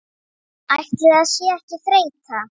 Ætli það sé ekki þreyta